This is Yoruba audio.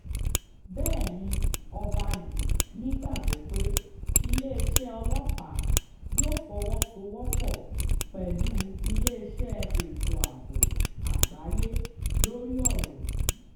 bẹ́ẹ̀ ni ọba yìí nígbàgbọ́ pé iléeṣẹ́ ọlọ́pàá yóò fọwọ́sowọ́pọ̀ pẹ̀lú iléeṣẹ́ ètò ààbò àgbáyé lórí ọ̀rọ̀ yìí